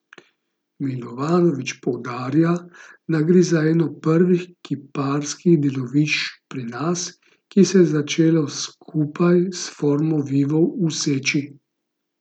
Milovanović poudarja, da gre za eno prvih kiparskih delovišč pri nas, ki se je začelo skupaj s Formo vivo v Seči.